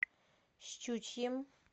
щучьим